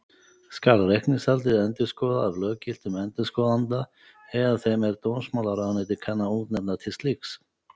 Skal reikningshaldið endurskoðað af löggiltum endurskoðanda eða þeim, er dómsmálaráðuneytið kann að útnefna til slíks.